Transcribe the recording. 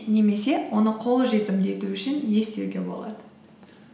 немесе оны қолжетімді ету үшін не істеуге болады